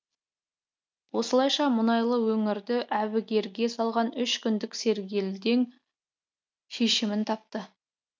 осылайша мұнайлы өңірді әбігерге салған үш күндік сергелдең шешімін тапты